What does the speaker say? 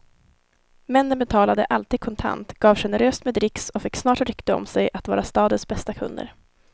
Männen betalade alltid kontant, gav generöst med dricks och fick snart rykte om sig att vara stadens bästa kunder.